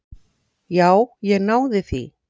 Já, ég náði því.